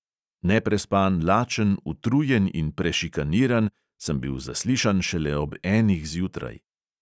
Neprespan, lačen, utrujen in prešikaniran sem bil zaslišan šele ob enih zjutraj.